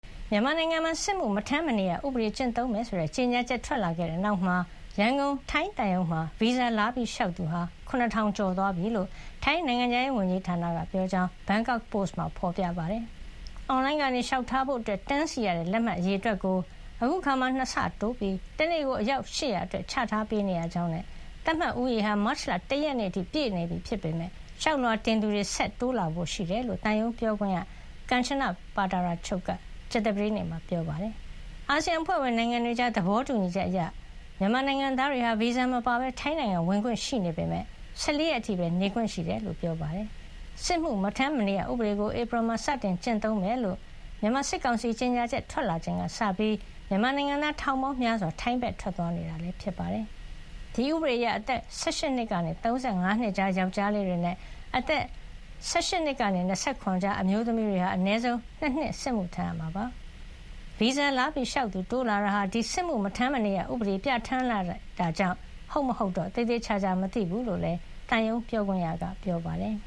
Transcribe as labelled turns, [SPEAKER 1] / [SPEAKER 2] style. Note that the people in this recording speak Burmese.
[SPEAKER 1] မြန်မာနိုင်ငံမှာ 'စစ်မှုမထမ်းမနေရ' ဥပဒေကျင့်သုံးမယ်ဆိုတဲ့ ကြေညာချက် ထွက်လာခဲ့တဲ့နောက်မှာ ရန်ကုန်ထိုင်းသံရုံးမှာ ဗီဇာလာလျှောက်သူက ၇,၀၀၀ ကျော်သွားပြီလို့ ထိုင်းနိုင်ငံခြားရေးဝန်ကြီးဌာနက ပြောကြောင်း Bangkok Posts မှာ ဖေါ်ပြပါတယ်။ အွန်လိုင်းကလျှောက်ထားဖို့တန်းစီရတဲ့ လက်မှတ်အရေအတွက်ကို အခုအခါမှာ ၂ ဆတိုးပြီး တနေ့ကိုအယောက် ၈၀၀ အတွက် ချထားပေးနေရကြောင်းနဲ့ သတ်မှတ်ဦးရေဟာ မတ်လ ၁ ရက်နေ့အထိ ပြည့်နေပြီဖြစ်ပေမယ့် လျှောက်လွှာတင်သူတွေ ဆက်ပြီး တိုးလာဖို့ရှိတယ်လို့ သံရုံးပြောခွင့်ရ ကန်ချန ပါတာရာချုပ် က ကြာသပတေးနေ့မှာ ပြောပါတယ်။ အာဆီယံအဖွဲ့ဝင်နိုင်ငံတွေကြား သဘောတူညီချက်အရ မြန်မာနိုင်ငံသားတွေဟာ ဗီဇာမပါဘဲ ထိုင်းနိုင်ငံကိုဝင်ခွင့်ရှိပေမယ့် ၁၄ ရက် အထိပဲ နေခွင့်ရှိတယ်လို့လည်း ပြောပါတယ်။ စစ်မှု မထမ်းမနေရဥပဒေကို ဧပြီလမှာ စတင်ကျင့်သုံးမယ်လို့ မြန်မာစစ်ကောင်စီရဲ့ကြေညာချက် ထွက်လာချိန်ကစပြီး မြန်မာနိုင်ငံသား ထောင်ပေါင်းများစွာ ထိုင်းနိုင်ငံဘက် ထွက်သွားနေတာဖြစ်ပါတယ်။ ဒီဥပဒေအရ အသက် ၁၈ နှစ်ကနေ ၃၅ နှစ်ကြား ယောင်္ကျားလေးတွေနဲ့ အသက် ၁၈ နှစ်ကနေ ၂၇ နှစ်ကြား အမျိုးသမီးတွေဟာ အနည်းဆုံး ၂ နှစ် စစ်မှုထမ်းရမှာ ဖြစ်ပါတယ်။ ဗီဇာလာလျှောက်သူတိုးလာတာဟာ ဒီ စစ်မှုမထမ်းမနေရ ဥပဒေပြဌာန်းလိုက်တာကြောင့် ဟုတ်မဟုတ်တော့ သေသေချာချာမသိဘူးလို့လည်း သံရုံးပြောခွင့်ရက ပြောပါတယ်